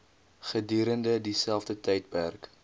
gedurende dieselfde tydperk